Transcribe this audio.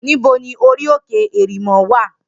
Nibó ni óri óké èrimò wá?